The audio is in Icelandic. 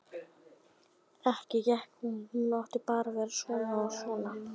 Ekki gat hann nú talist reffilegur.